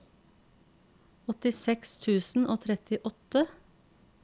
åttiseks tusen og trettiåtte